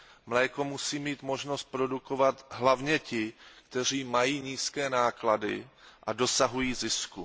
Mléko musí mít možnost produkovat hlavně ti, kteří mají nízké náklady a dosahují zisku.